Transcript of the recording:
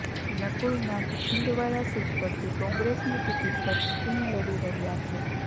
Nakul Nath Chhindwara seat પરથી કોંગ્રેસની ticket પર ચૂંટણી લડી રહ્યાં છે